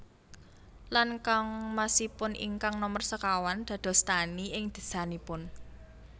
Lan kangmasipun ingkang nomer sekawan dados tani ing desanipun